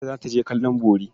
Binta za ta je kallon bori.